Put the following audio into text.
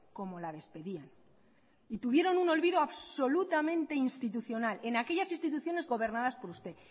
como la despedían y tuvieron un olvido absolutamente institucional en aquellas instituciones gobernadas por usted